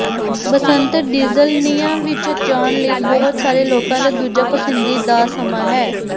ਬਸੰਤ ਡੀਜ਼ਲਨੀਆ ਵਿੱਚ ਜਾਣ ਲਈ ਬਹੁਤ ਸਾਰੇ ਲੋਕਾਂ ਦਾ ਦੂਜਾ ਪਸੰਦੀਦਾ ਸਮਾਂ ਹੈ